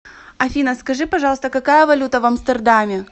афина скажи пожалуйста какая валюта в амстердаме